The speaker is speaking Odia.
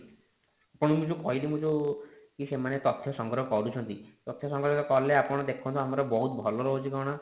ଆପଣଙ୍କୁ ଯଉ ମୁଁ କହିଲି ମୁଁ ଯୋଉ କି ସେମାନେ ତଥ୍ୟ ସଂଗ୍ରହ କରୁଛନ୍ତି ତଥ୍ୟ ସଂଗ୍ରହ କଲେ ଆପଣ ଦେଖନ୍ତୁ ଆମର ବହୁତ ଭଲ ରହୁଛି କଣ